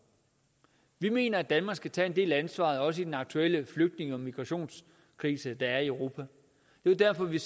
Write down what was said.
vi mener at danmark skal tage en del af ansvaret også i den aktuelle flygtninge og migrationskrise der er i europa det var derfor at vi